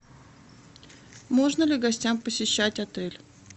можно ли гостям посещать отель